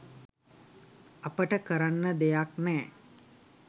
අපට කරන්න දෙයක් නෑ